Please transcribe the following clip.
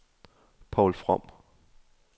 Poul From